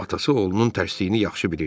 Atası oğlunun tərsliyini yaxşı bilirdi.